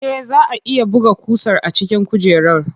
Eh, zaa a iya buga ƙusar a cikin kujerar.